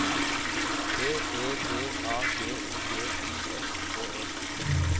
P E D A G O G I S K E